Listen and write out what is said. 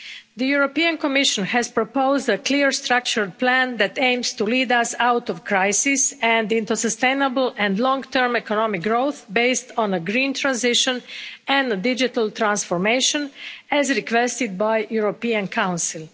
The Commission has proposed a clear, structured plan that aims to lead us out of crisis and into sustainable and long term economic growth, based on a green transition and a digital transformation, as requested by the European Council.